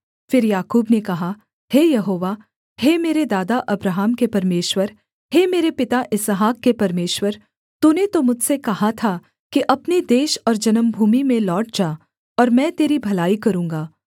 फिर याकूब ने कहा हे यहोवा हे मेरे दादा अब्राहम के परमेश्वर हे मेरे पिता इसहाक के परमेश्वर तूने तो मुझसे कहा था कि अपने देश और जन्मभूमि में लौट जा और मैं तेरी भलाई करूँगा